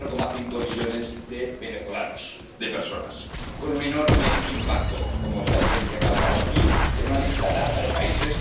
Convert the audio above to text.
4,5 millones de venezolanos, de personas, con un enorme impacto ―como bien se ha recalcado aquí― en una larga lista de países.